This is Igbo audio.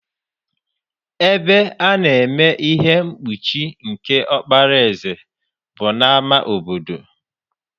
Ebe a na-eme ihe mkpuchi nke ọkpara eze bụ n'ama obodo.